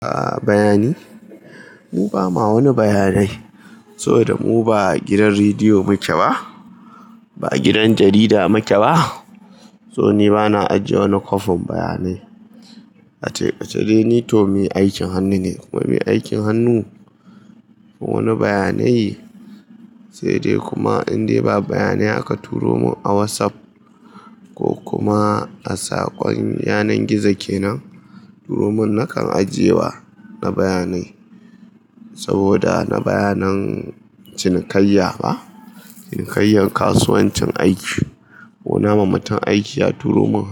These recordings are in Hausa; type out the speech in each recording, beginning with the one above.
A bayani, mu ba ma wani bayanai saboda mu ba gidan rediyo muke ba, ba gidan jarida muke ba. So ni ba na ajiye wani kwafin bayanai. Ace dai ni to mai aikin hannu ne to mai aikin hannu wani bayanai, sai dai kuma in dai ba bayanai aka turo mun a WhatsApp ko kuma a saƙon yanar gizo ke nan, to nan kan ajiye wa na bayanai saboda na bayanan cinikayya ba, cinikayyan kasuwancin aiki. Ko nama mutum aiki ya turo mun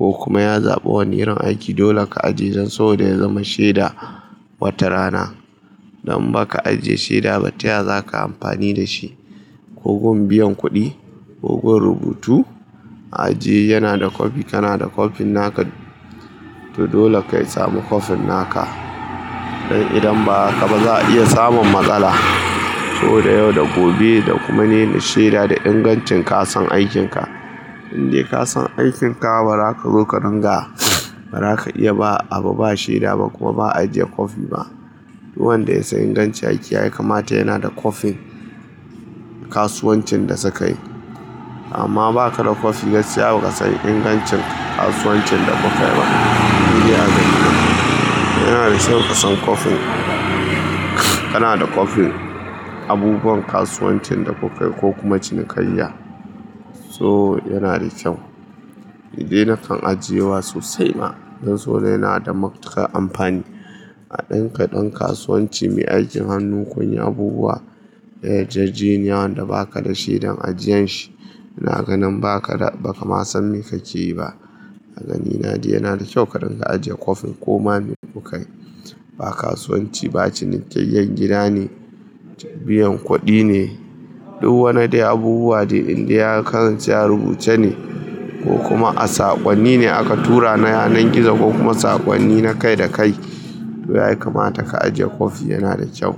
ko kuma ya zaɓa wani irin aiki, dole ka ajiye don saboda ya zama sheda wata rana. Don in baka ajiye sheda ba, taya za ka amfani da shi. Ko gun biyan kuɗi ko gun rubutu, ajiye. Yana da kwafi, kana da kwafin naka to dole ka yi samu kwafin naka. Don idan ba haka ba za a iya samun matsala saboda yau da gobe da kuma ne sheda da ingancin kasan aikin ka. In dai ka san aikin ka ba za ka zo ka dinga, ba za ka iya ba abu ba sheda ba kuma ba ajiye kwafi ba. Duk wanda ya san ingancin aiki ya yi, kamata yana da kwafin kasuwancin da sukayi. Amma ba ka da kwafi gaskiya ba ka san ingancin kasuwancin da kuka yi ba. Yana da kyau ka san kwafin, kana da kwafin abubuwan kasuwancin da kuka yi ko kuma cinikayya. So yana da kyau. Ni dai na kan ajiye amma ba sosai ba don saboda yana da matuƙar amfani. Kaɗan kaɗan kasuwanci mai aikin hannu kun yi abubuwa na yarjejeniya wanda ba ka da shedan ajiyan shi, ina ganin ba ka da, ba ka ma san me ka ke yi ba. A ganina dai yana da kyau ka dinga ajiye kwafin koma me kuka yi. Ba kasuwanci ba cinikayyan gida ne, biyan kuɗi ne, duk wani dai abubuwa dai in dai ya kasance a rubuce ne ko kuma a saƙonni ne aka tura na yanar gizo ko kuma saƙonni na kai da kai, to ya kamata ka ajiye kwafi yana da kyau.